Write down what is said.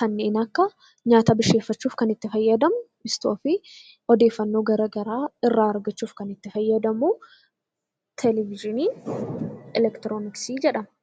kanneen akka nyaata bilcheeffachuuf itti fayyadamnu istoovii, odeeffannoo garaagaraa irraa argachuuf kan itti fayyadamnu televezyiii eleektirooniksii jedhama.